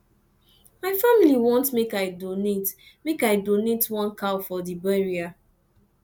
my family want make i donate make i donate one cow for di burial